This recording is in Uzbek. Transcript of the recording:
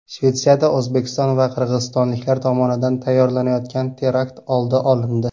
Shvetsiyada O‘zbekiston va qirg‘izistonliklar tomonidan tayyorlanayotgan terakt oldi olindi.